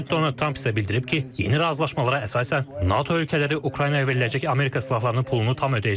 Prezident ona tam sözə bildirib ki, yeni razılaşmalara əsasən NATO ölkələri Ukraynaya veriləcək Amerika silahlarının pulunu tam ödəyəcək.